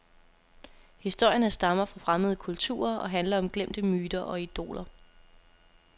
Historierne stammer fra fremmede kulturer og handler om glemte myter og idoler.